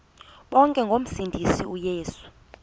bonke ngomsindisi uyesu